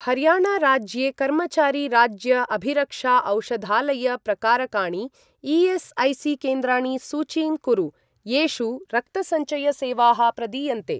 हर्याणा राज्ये कर्मचारी राज्य अभिरक्षा औषधालय प्रकारकाणि ई.एस्.ऐ.सी.केन्द्राणि सूचीं कुरु, येषु रक्तसञ्चय सेवाः प्रदीयन्ते।